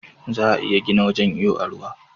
Za'a iya gina wajan iyo a gida